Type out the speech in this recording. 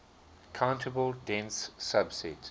countable dense subset